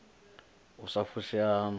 u sa fushea haṋu ni